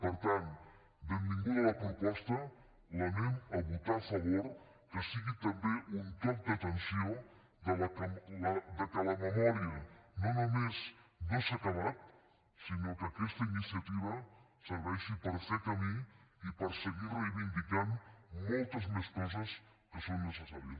per tant benvinguda la proposta hi votarem a favor que sigui també un toc d’atenció del fet que la memòria no només no s’ha acabat sinó que aquesta iniciativa serveixi per fer camí i per seguir reivindicant moltes més coses que són necessàries